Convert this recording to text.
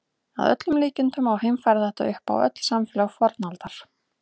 Að öllum líkindum má heimfæra þetta upp á öll samfélög fornaldar.